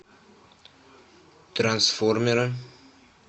трансформеры